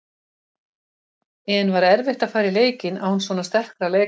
En var erfitt að fara í leikinn án svo sterkra leikmanna?